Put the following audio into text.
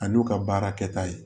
A n'u ka baara kɛta ye